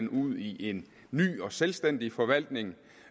ud i en ny og selvstændig forvaltning